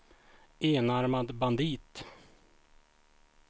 enarmad bandit